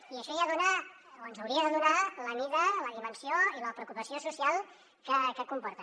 i això ja dona o ens hauria de donar la mida la dimensió i la preocupació social que comporta